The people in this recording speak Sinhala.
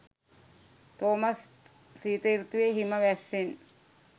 තෝමස් ශීත සෘතුවේ හිම වැස්සෙන්